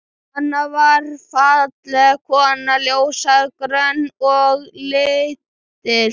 Anna var falleg kona, ljóshærð, grönn og lítil.